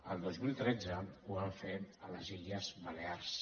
el dos mil tretze ho van fer a les illes balears